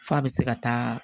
F'a bɛ se ka taa